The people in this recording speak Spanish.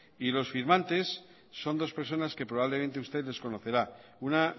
y los firmantes son dos personas que probablemente usted desconocerá una